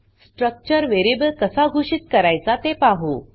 structure variable कसा घोषित करायचा ते पाहु